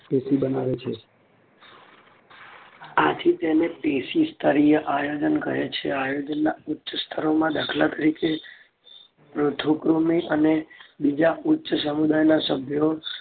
પેશી બનાવે છે. આથી તેને પેશીસ્તરીય આયોજન કહે છે. આયોજનના ઉંચ્ચ સ્તરો માં દાખલ તરીકે પૃથુકૃમી અને બીજા ઉચ્ચ સમુદાયના સભ્યો